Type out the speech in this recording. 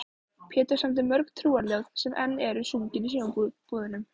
Pétur samdi mörg trúarljóð sem enn eru sungin í sumarbúðunum.